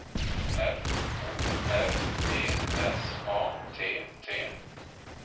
F O R T S A T T